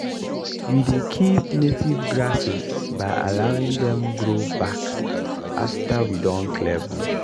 we dey keep native grasses by allowing dem grow back afta we don clear bush.